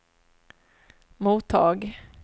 mottag